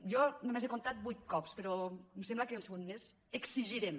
jo només he comptat vuit cops però em sembla que han sigut més exigirem